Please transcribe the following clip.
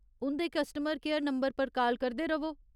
उंʼदे customer care number पर call करदे रʼवो।